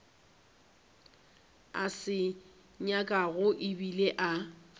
a se nyakago ebile a